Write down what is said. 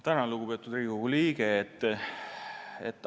Tänan, lugupeetud Riigikogu liige!